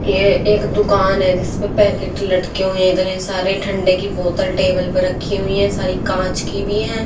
ये एक दुकान है जिस पे पैकेट लटके हुए इतने सारे ठंडे की बोतल टेबल पे रखी हुई हैं सारी कांच की भी हैं।